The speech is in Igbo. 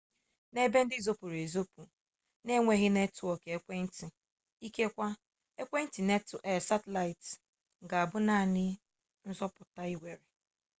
n'ebe ndị zopuru ezopu n'enweghị netwọk ekwentị ikekwe ekwentị satịlaịt ga-abụ naanị nzọpụta i nwere